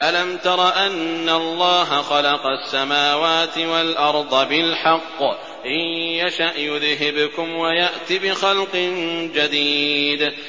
أَلَمْ تَرَ أَنَّ اللَّهَ خَلَقَ السَّمَاوَاتِ وَالْأَرْضَ بِالْحَقِّ ۚ إِن يَشَأْ يُذْهِبْكُمْ وَيَأْتِ بِخَلْقٍ جَدِيدٍ